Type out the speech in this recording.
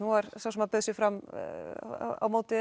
sá sem bauð sig fram á móti